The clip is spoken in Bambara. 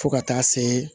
Fo ka taa se